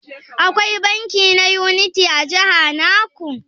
Akwai banki na Unity a jiha naku?